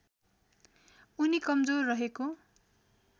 उनी कमजोर रहेको